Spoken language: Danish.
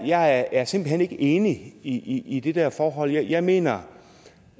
jeg er simpelt hen ikke enig i i det der forhold jeg mener